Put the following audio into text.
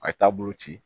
A ye taabolo ci